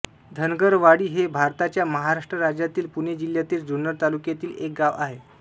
धनगरवाडी हे भारताच्या महाराष्ट्र राज्यातील पुणे जिल्ह्यातील जुन्नर तालुक्यातील एक गाव आहे